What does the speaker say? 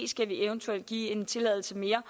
eventuelt skal give en tilladelse mere